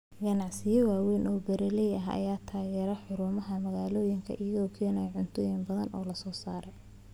Ganacsiyo waaweyn oo beeraley ah ayaa taageera xarumaha magaalooyinka iyagoo keenaya cuntooyin badan oo la soo saaro.